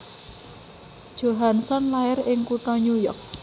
Johansson lair ing kutha New York